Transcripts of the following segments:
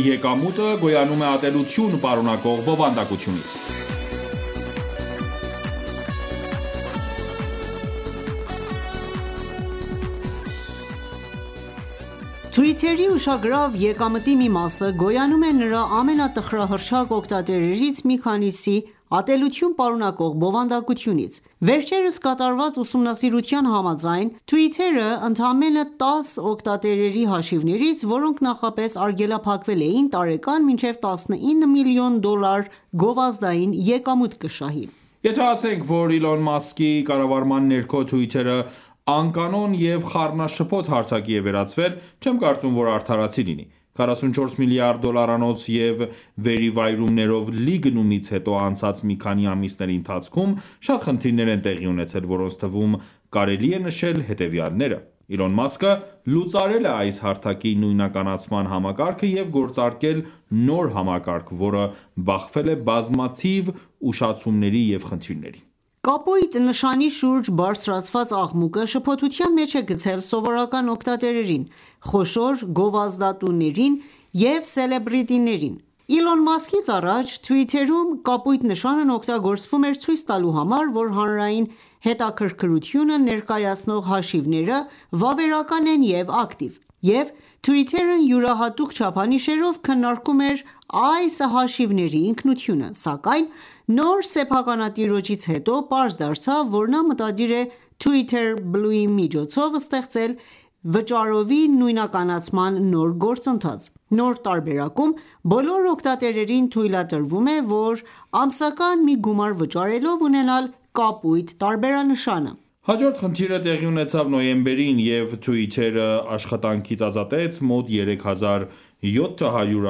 եկամուտը գոյանում է ատելություն պարունակող բովանդակությունից Twitter-ի ուշագրավ եկամտի մի մասը գոյանում է նրա ամենատխրահռչակ օգտատերերից մի քանիսի ատելություն պարունակող բովանդակությունից: Վերջերս կատարված ուսումնասիրության համաձայն, Twitter-ը ընդամենը 10 օգտատերերի հաշիվներից ,որոնք նախապես արգելափակվել էին ,տարեկան մինչև 19 միլիոն դոլար գովազդային եկամուտ կշահի: Եթե ասենք, որ Իլոն Մասկի կառավարման ներքո՝Twitter-ը անկանոն և խառնաշփոթ հարթակի է վերածվել ,չեմ կարծում որ արդարացի լինի: 44 միլիարդ դոլարանոց և վերիվայրումներով լի գնումից հետո անցած մի քանի ամիսների ընթացքում շատ խնդիրներ են տեղի ունեցել, որոնց թվում կարելի է նշել հետևյալները՝ Իլոն Մասկը լուծարել է այս հարթակի նույնականացման համակարգը և գործարկել նոր համակարգ, որը բախվել է բազմաթիվ ուշացումների և խնդիրների: Կապույտ նշանի շուրջ բարձրացված աղմուկը շփոթության մեջ է գցել սովորական օգտատերերին, խոշոր գովազդատուներին և սելեբրիտիներին: Իլոն Մասկից առաջ ,Twitter-ում կապույտ նշանն օգտագործվում էր՝ ցույց տալու համար, որ հանրային հետաքրքրություն ներկայացնող հաշիվները վավերական են և ակտիվ, և Twitter-ն յուրահատուկ չափանիշերով քննարկում էր այս հաշիվների ինքնությունը: Սակայն նոր սեփականատիրոջից հետո պարզ դարձավ, որ նա մտադիր է «Twitter Blue»-ի միջոցով ստեղծել վճարովի նույնականացման նոր գործընթաց։ Նոր տարբերակում բոլոր օգտատերերին թույլատրվում է ,որ ամսական մի գումար վճարելով ունենալ կապույտ տարբերանշանը: Հաջորդ խնդիրը տեղի ունեցավ նոյեմբերին, և Twitter-ը աշխատանքից ազատեց մոտ 3700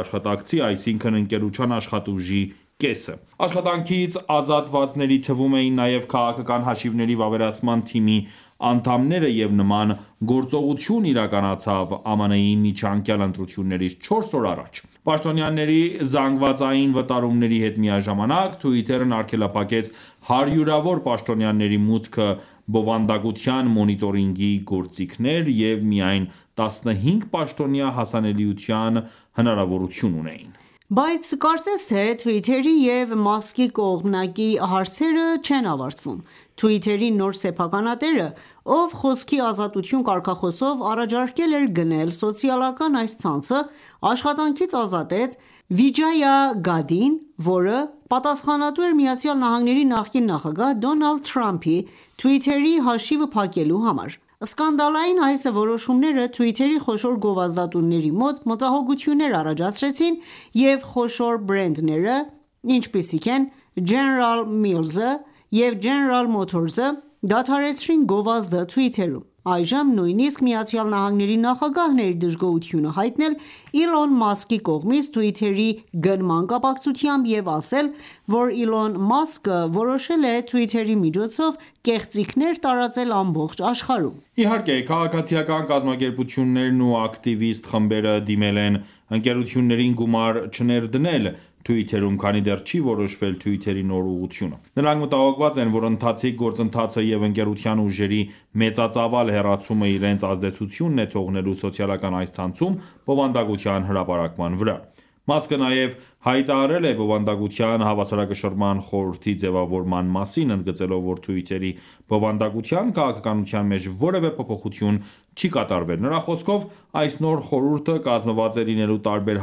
աշխատակցի, այսինքն ՝ընկերության աշխատուժի կեսին։ Աշխատանքից ազատվածների թվում էին նաև քաղաքական հաշիվների վավերացման թիմի անդամները, և նման գործողություն իրականացավ ԱՄՆ-ի միջանկյալ ընտրություններից չորս օր առաջ։ Պաշտոնյաների զանգվածային վտարումների հետ միաժամանակ, Twitter-ն արգելափակեց հարյուրավոր պաշտոնյաների մուտքը բովանդակության մոնիտորինգի գործիքներ, և միայն 15 պաշտոնյա հասանելիության հնարավորություն ունեին: Բայց կարծես թե Twitter-ի ու Մասկի կողմնակի հարցերը չեն ավարտվում, Twitter-ի նոր սեփականատերը, ով «խոսքի ազատություն» կարգախոսով առաջարկել էր գնել սոցիալական այս ցանցը, աշխատանքից ազատեց Վիջայա Գադին, որը պատասխանատու էր ԱՄՆ նախկին նախագահ Դոնալդ Թրամփի Twitter-ի հաշիվը փակելու համար։ Սկանդալային այս որոշումները ,Twitter-ի խոշոր գովազդատուների մոտ մտահոգոթյուններ առաջացրեցին և խոշոր բրենդները, ինչպիսիք են՝ General Mills-ը և General Motors-ը, դադարեցրին գովազդը Twitter-ում։ Այժմ նույնիսկ ԱՄՆ-ի նախագահն է իր դժգոհությունը հայտնել Իլոն Մասկի կողմից Twitter-ի գնման կապակցությամբ և ասել, որ Իլոն Մասկը որոշել է Twitter-ի միջոցով կեղծիքներ տարածել ամբողջ աշխարհում։ Իհարկե, քաղաքացիական կազմակերպություններն ու ակտիվիստ խմբերը դիմել են ընկերություններին գումար չներդնել Twitter-ում, քանի դեռ չի որոշվել Twitter-ի նոր ուղղությունը։ Նրանք մտահոգված են, որ ընթացիկ գործընթացը և ընկերության ուժերի մեծածավալ հեռացումը իրենց ազդեցությունն է թողնելու սոցիալական այս ցանցում բովանդակության հրապարակման վրա: Մասկը նաև հայտարարել է «բովանդակության հավասարակշռման խորհրդի» ձևավորման մասին՝ ընդգծելով, որ Twitter-ի բովանդակության քաղաքականության մեջ որևէ փոփոխություն չի կատարվել։ Նրա խոսքով՝ այս նոր խորհուրդը կազմված է լինելու տարբեր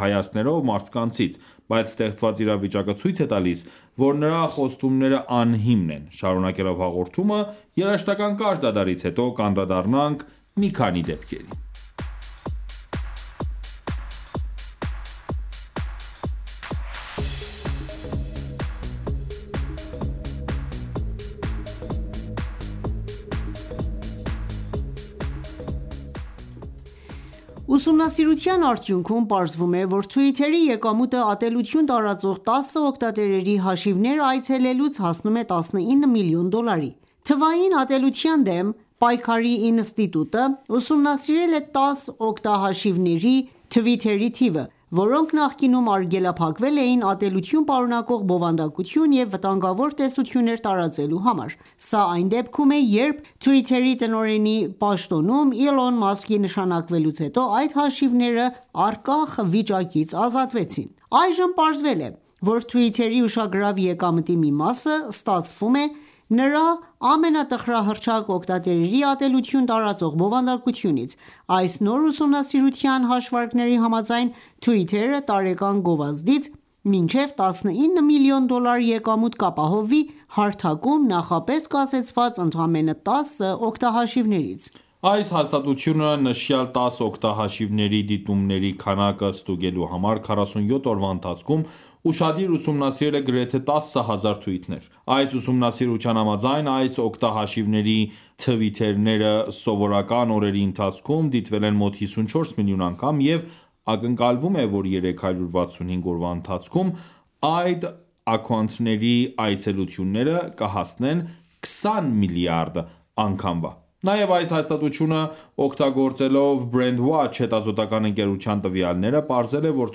հայացքներով մարդկանցից։ Բայց ստեղծված իրավիճակը ցույց է տալիս, որ նրա խոստումները անհիմն են :Շարունակելով հաղորդումը, երաժշտական կարճ դադարից հետո կանդրադառնանք մի քանի դեպքերի: Ուսումնասիրության արդյունքում պարզվում է,որ Twitter-ի եկամուտը՝ատելություն տարածող 10 օգտատերերի հաշիվները այցելելուց հասնում է 19 միլիոն դոլարի: Թվային ատելության դեմ պայքարի ինստիտուտը (CCDH) ուսումնասիրել է 10 օգտահաշիվների թվիթերի թիվը, որոնք նախկինում արգելափակվել էին ատելություն պարունակող բովանդակություն և վտանգավոր տեսություններ տարածելու համար: Սա այն դեպքում է, երբ Twitter-ի տնօրենի պաշտոնում Իլոն Մասկի նշանակվելուց հետո, այդ հաշիվները առկախ վիճակից ազատվեցին: Այժմ պարզվել է, որ Twitter-ի ուշագրավ եկամտի մի մասը ստացվում է նրա ամենատխրահռչակ օգտատերերի ատելություն տարածող բովանդակությունից: Այս նոր ուսումնասիրության հաշվարկների համաձայն, Twitter-ը տարեկան գովազդից մինչև 19 միլիոն դոլար եկամուտ կապահովվի, հարթակում նախապես կասեցված ընդամենը 10 օգտահաշիվներից: Այս հաստատությունը նշյալ 10 օգտահաշիվների դիտումների քանակը ստուգելու համար, 47 օրվա ընթացքում ուշադիր ուսումնասիրել է գրեթե 10,000 թվիթներ ։Այս ուսումնասիրության համաձայն՝ այս օգտահաշիվների թվիթները սովորական օրերի ընթացքում դիտվել են մոտ 54 միլիոն անգամ, և ակնկալվում է, որ 365 օրվա ընթացքում այդ աքաունթների այցելությունները կհասնեն 20 միլիարդ անգամվա։ Նաև, այս հաստատությունը օգտագործելով Brandwatch հետազոտական ընկերության տվյալները, պարզել է, որ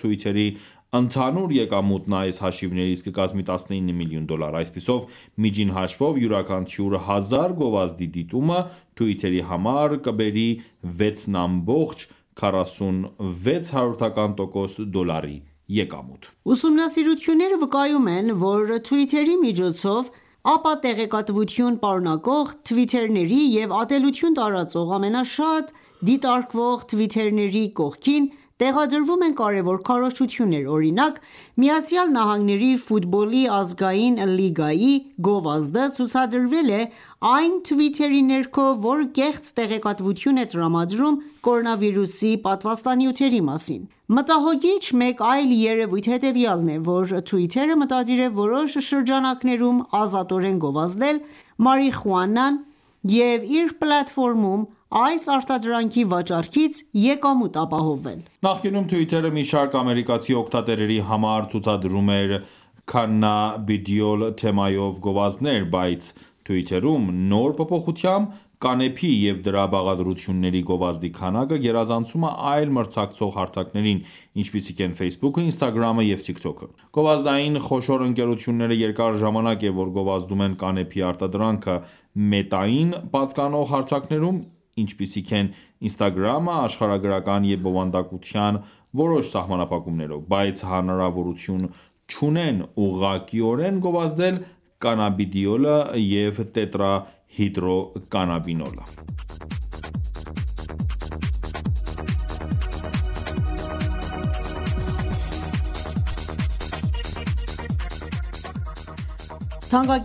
Twitter-ի ընդհանուր եկամուտն այս հաշիվներից կկազմի 19 միլիոն դոլար։ Այսպիսով, միջին հաշվով, յուրաքանչյուր 1000 գովազդի դիտումը Twitter-ի համար կբերի 6.46 դոլարի եկամուտ: Ուսումնասիրությունները վկայում են, որ Twitter-ի միջոցով ապատեղեկատվություն պարունակող թվիթերների և ատելություն տարածող ամենաշատ դիտարկվող թվիթերների կողքին տեղադրվում են կարևոր քարոզչություններ:Օրինակ, ԱՄՆ-ի Ֆուտբոլի ազգային լիգայի(NFL) գովազդը ցուցադրվել է այն թվիթերի ներքո, որը կեղծ տեղեկատվություն է տրամադրում կորոնավիրուսի պատվաստանյութերի մասին: Մտահոգիչ մեկ այլ երևույթ հետևյալն է, որ Twitter-ը մտադիր է ՝ որոշ շրջանակներում ազատորեն գովազդել մարիխուանան և իր պլատֆորմում այս արտադրանքի վաճառքից՝ եկամուտ ապահովել: Նախկինում Twitter-ը մի շարք ամերիկացի օգտատերերի համար ցուցադրում էր Cannabidiol թեմայով գովազդներ, բայց Twitter-ում նոր փոփոխությամբ, կանեփի և դրա բաղադրությունների գովազդի քանակը, գերազանցում է այլ մրցակցող հարթակներին, ինչպիսիք են Facebook-ը, Instagram-ը և Tik Tok-ը: Գովազդային խոշոր ընկերությունները երկար ժամանակ է ,որ գովազդում են կանեփի արտադրանքը «Մետա»-ին պատկանող հարթակներում, ինչպիսիք են Instagram-ը, աշխարհագրական և բովանդակության որոշ սահմանափակումներով, բայց հնարավորություն չունեն ուղղակիորեն գովազդել կանաբիդիոլը և տետրա հիդրո կանաբինոլը (THC):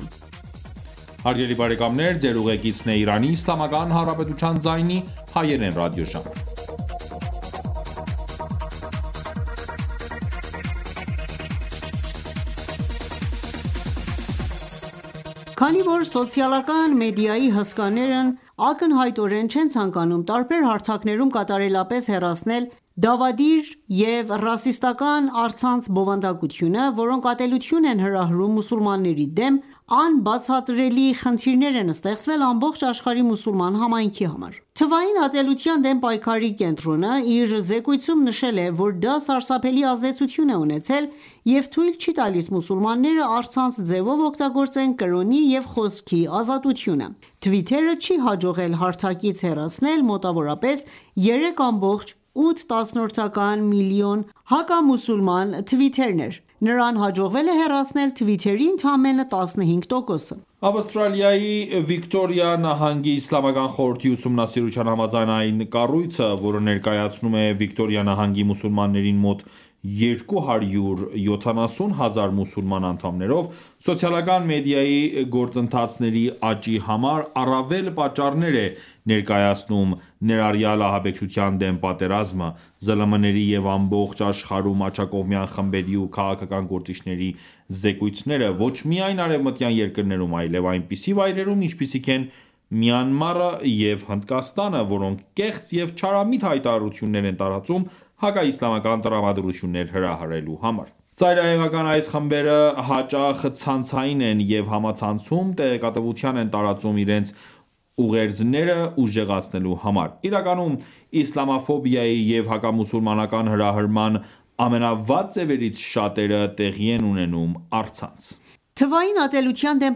Քանի որ սոցիալական մեդիայի հսկաներն ակնհայտորեն չեն ցանկանում տարբեր հարթակներում կատարելապես հեռացնել դավադիր և ռասիստական առցանց բովանդակությունը, որոնք ատելություն են հրահրում մուսուլմանների դեմ, անբացատրելի խնդիրներ են ստեղծվել ամբողջ աշխարհի մուլուլման համայնքի համար: Թվային ատելության դեմ պայքարի կենտրոնը (CCDH) իր զեկույցում նշել է, որ դա սարսափելի ազդեցություն է ունեցել և թույլ չի տալիս մուսուլմանները առցանց ձևով օգտագործեն կրոնի և խոսքի ազատությունը: Twitter-ը չի հաջողել հարթակից հեռացնել մոտավորապես 3.8 միլիոն հակամուսուլման թվիթներ :Նրան հաջողվել է հեռացնել թվիթերի ընդամենը 15%-ը: Ավստրալիայի Վիկտորիա նահանգի իսլամական խորհրդի ուսումնասիրության համաձայն՝ այն կառույցը, որը ներկայացնում է Վիկտորիա նահանգի մուսուլմաններին մոտ 270 հազար մուսուլման անդամներով, սոցիալական մեդիայի գործընթացների աճի համար առավել պատճառներ է ներկայացնում, ներառյալ ահաբեկչության դեմ պատերազմը, ԶԼՄ-ների և ամբողջ աշխարհում աջակողմյան խմբերի ու քաղաքական գործիչների զեկույցները, ոչ միայն արևմտյան երկրներում, այլև այնպիսի վայրերում, ինչպիսիք են՝ Մյանմարը և Հնդկաստանը, որոնք կեղծ և չարամիտ հայտարարություններ են տարածում՝ հակաիսլամական տրամադրություններ հրահրելու համար: Ծայրահեղական այս խմբերը հաճախ ցանցային են և համացանցում տեղեկատվություն են տարածում իրենց ուղերձները ուժեղացնելու համար: Իրականում, իսլամաֆոբիայի և հակամուսուլմանական հրահրման ամենավատ ձևերից շատերը տեղի են ունենում առցանց: Թվային ատելության դեմ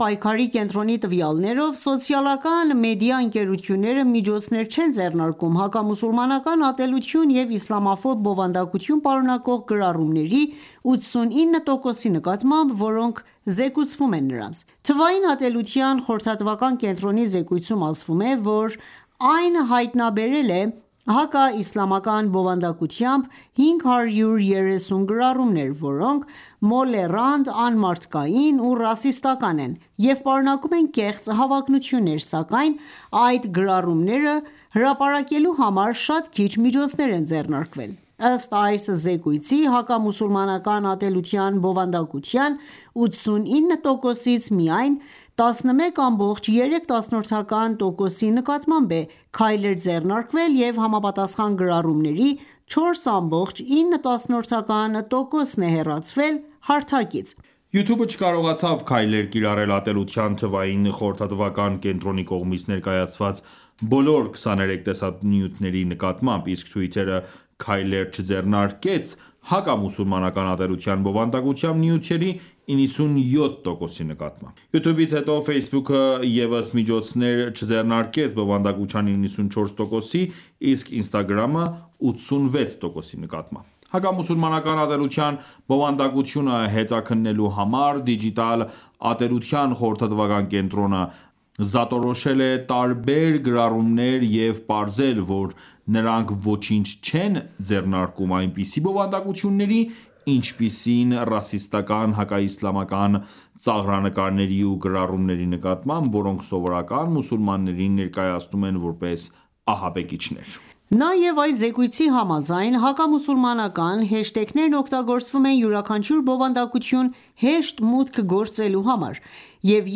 պայքարի կենտրոնի տվյալներով՝ սոցիալական մեդիա ընկերությունները միջոցներ չեն ձեռնարկում հակամուսուլմանական ատելություն և իսլամաֆոբ բովանդակություն պարունակող գրառումների 89 տոկոսի նկատմամբ, որոնք զեկուցվում են նրանց: Թվային ատելության խորհրդատվական կենտրոնի զեկույցում ասվում է, որ այն հայտնաբերել է հակաիսլամական բովանդակությամբ 530 գրառումներ, որոնք մոլեռանդ, անմարդկային ու ռասիստական են և պարունակում են կեղծ հավակնություններ, սակայն այդ գրառումները հրապարակելու համար շատ քիչ միջոցներ են ձեռնարկվել: Ըստ այս զեկույցի՝ հակամուսուլմանական ատելության բովանդակության 89%-ից միայն 11.3%-ի նկատմամբ է քայլեր ձեռնարկվել, և համապատասխան գրառումների 4.9%-ն է հեռացվել հարթակից: YouTube-ը չկարողացավ քայլեր կիրառել ատելության թվային խորհրդատվական կենտրոնի կողմից ներկայացված բոլոր 23 տեսանյութերի նկատմամբ, իսկ Twitter-ը քայլեր չձեռնարկեց հակամուսուլմանական ատելության բովանդակությամբ նյութերի 97 տոկոսի նկատմամբ: YouTube-ից հետո ,Facebook-ը ևս միջոցներ չձեռնարկեց բովանդակության 94%-ի, իսկ Instagram-ը՝ 86%-ի նկատմամբ: Հակամուսուլմանական ատելության բովանդակությունը հետաքննելու համար Դիջիտալ ատելության խորհրդատվական կենտրոնը զատորոշել է տարբեր գրառումներ և պարզել, որ նրանք ոչինչ չեն ձեռնարկում այնպիսի բովանդակությունների, ինչպիսին ՝ռասիստական հակաիսլամական ծաղրանկարների ու գրառումների նկատմամբ, որոնք սովորական մուսուլմաններին ներկայացնում են որպես ահաբեկիչներ: Նաև, այս զեկույցի համաձայն, հակամուսուլմանական հեշթեգներն օգտագործվում են յուրաքանչյուր բովանդակություն հեշտ մուտք գործելու համար, և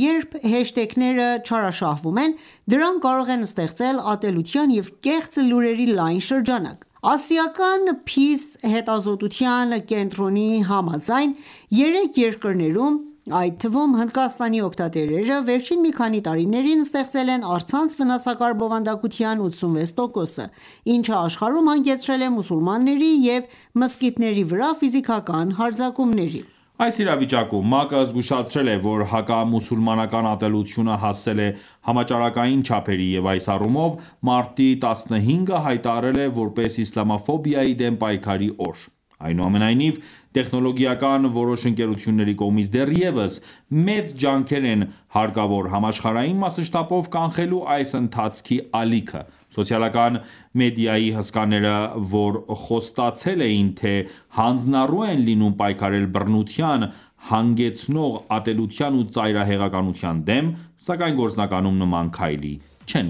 երբ հեշթեգները չարաշահվում են, դրանք կարող են ստեղծել ատելության և կեղծ լուրերի լայն շրջանակ: Ասիական «Փիս»-ի հետազոտության կենտրոնի համաձայն՝ երեք երկրներում, այդ թվում՝ Հնդկաստանի օգտատերերը, վերջին մի քանի տարիներին ստեղծել են առցանց վնասակար բովանդակության 86 տոկոսը, ինչը աշխարհում հանգեցրել է մուսուլմանների և մզկիթների վրա ֆիզիկական հարձակումների: Այս իրավիճակում ՄԱԿ-ը զգուշացրել է, որ հակամուսուլմանական ատելությունը հասել է «համաճարակային չափերի» և այս առումով մարտի 15-ը հայտարարել է ,որպես իսլամաֆոբիայի դեմ պայքարի օր։ Այնուամենայնիվ, տեխնոլոգիական որոշ ընկերությունների կողմից դեռևս մեծ ջանքեր են հարկավոր ՝համաշխարհային մասշտաբով կանխելու այս ընթացքի ալիքը: Սոցիալական մեդիայի հսկաները, որ խոստացել էին թե՝հանձնառու են լինում պայքարել բռնության հանգեցնող ատելության ու ծայրահեղականության դեմ ,սակայն գործնականում նման քայլի չեն